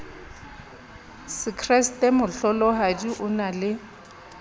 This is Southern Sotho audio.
sekreste mohlolohadi o na le